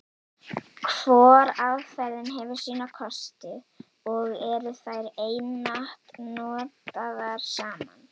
Hvor aðferðin hefur sína kosti, og eru þær einatt notaðar saman.